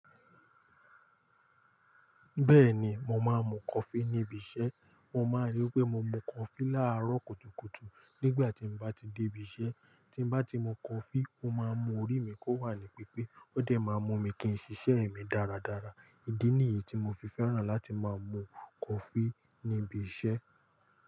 Bẹ́ẹ̀ni, mo máa ń mu coffee níbi iṣẹ́. Mo máa n rí wí pé mo mu coffee láàrọ̀ kùtùkùtù nígbà tí mo bá ti dé ibi iṣẹ́. Tí n bá ti mu coffee, ó máa ń mu orí mi kó wà ní pípé. Ó dẹ̀ máa n mú mi kí n ṣiṣẹ́ mi dáradára. Ìdí nìyí tí mo fi fẹ́ràn láti máa mu coffee níbi iṣẹ́